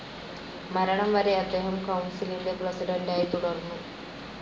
മരണം വരെ അദ്ദേഹം കൗൺസിലിൻ്റെ പ്രസിഡൻ്റായി തുടർന്നു.